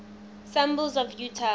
symbols of utah